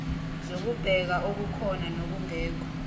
zokubheka okukhona nokungekho